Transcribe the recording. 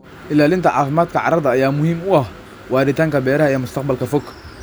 Ilaalinta caafimaadka carrada ayaa muhiim u ah waaritaanka beeraha ee mustaqbalka fog.